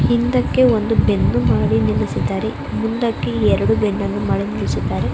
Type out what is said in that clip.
ಹಿಂದಕ್ಕೆ ಒಂದು ಬೆನ್ನು ಮಾಡಿ ನಿಲ್ಲಿಸಿದ್ದಾರೆ ಮುಂದಕ್ಕೆ ಎರಡು ಬೆನ್ನು ಮಾಡಿ ನಿಲ್ಲಿಸಿದ್ದಾರೆ.